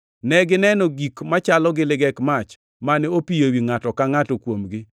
Negineno gik machalo gi ligek mach, mane opiyo ewi ngʼato ka ngʼato kuomgi.